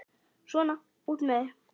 Svona, út með þig!